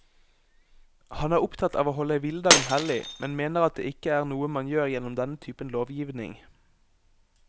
Han er opptatt av å holde hviledagen hellig, men mener at det ikke er noe man gjør gjennom denne typen lovgivning.